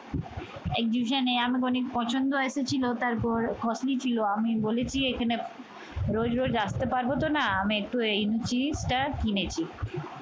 exhibition এ আনুমানিক পছন্দ এসেছিল তারপর costly ছিল আমি বলেছি এখানে রোজ রোজ আসতে পারবো তো না। আমি একটু এই জিনিসটা কিনেছি।